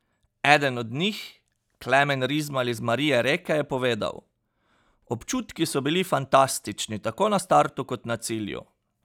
Eden od njih, Klemen Rizmal iz Marija Reke, je povedal: "Občutki so bili fantastični tako na startu kot na cilju.